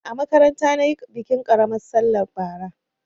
A makaranta na yi bikin ƙaramar sallah bara.